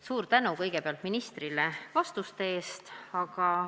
Suur tänu kõigepealt ministrile vastuste eest!